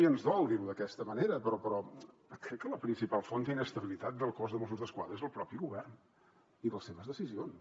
i ens dol dir ho d’aquesta manera però crec que la principal font d’inestabilitat del cos de mossos d’esquadra és el propi govern i les seves decisions